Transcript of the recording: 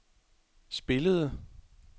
spillede